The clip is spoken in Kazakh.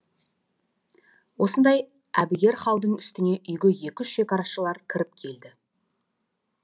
осындай әбігер халдың үстіне үйге екі үш шекарашылар кіріп келді